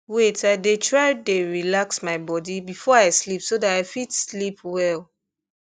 wait i dey try dey relax my body before i sleep so that i fit sleep well